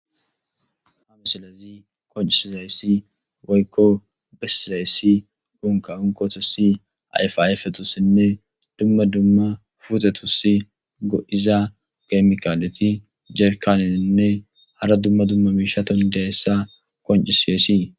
Ha misilazi koncisizayssi woykko besizayssi dunka onkotussi ayfaafetussinne dumma dumma futetusi go'iza geymkaaleti jerkanenne hara dumma dumma miishaton dehessa koncisiyessi.